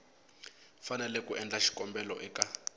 fanele ku endla xikombelo eka